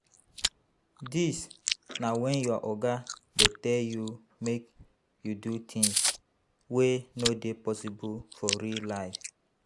Dis na when your oga dey tell you make you do things wey no dey possible for real life